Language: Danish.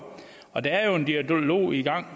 og der er jo en dialog i gang